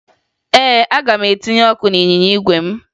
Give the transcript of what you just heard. Ee, aga m etinye ọkụ n'ịnyịnya igwe m